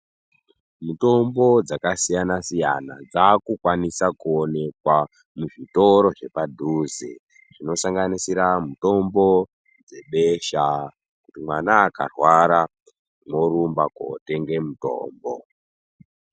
Mitombo dzakasiyana-siyana dzakukwanisa kuonekwa muzvitoro zvepadhuze zvinosanganisira mitombo dzebesha, kuti mwana akarwara orumba kotenga mutombo.